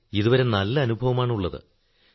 sir ഇതുവരെ നല്ല അനുഭവമാണുള്ളത്